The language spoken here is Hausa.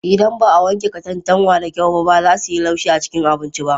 Idan ba a wanke katantanwa da kyau ba, za su yi laushi a cikin abinci.